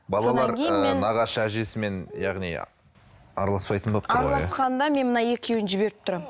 балалар ы нағашы әжесімен яғни араласпайтын болып араласқанда мен мына екеуін жіберіп тұрамын